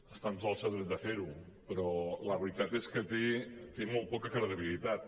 està en tot el seu dret de fer ho però la veritat és que té molt poca credibilitat